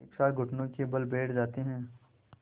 एक साथ घुटनों के बल बैठ जाते हैं